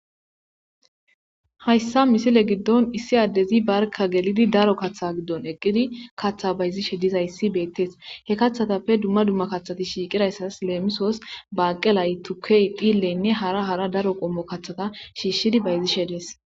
Hayisa misile giddoni issi adezi barika gelid daro kaththa giddoni eqidi kaththa bazid dizayisi beteesi he kaththazappe dumma dumma kati shiqidayisas lemisos baqelay turkey dhileyinne hara hara daro kaththa qommota shishidi bazishshe dees